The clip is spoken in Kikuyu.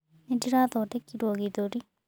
Nĩ ndĩra thondekirwo kĩthũri.